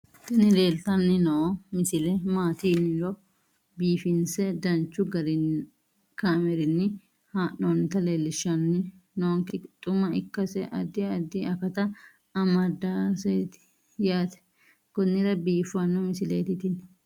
tini leeltanni noo misile maaati yiniro biifinse danchu kaamerinni haa'noonnita leellishshanni nonketi xuma ikkase addi addi akata amadaseeti yaate konnira biiffanno misileeti tini